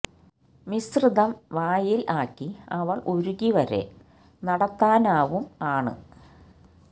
മിശ്രിതം വായിൽ ആക്കി അവൾ ഉരുകി വരെ നടത്താനാവും ആണ്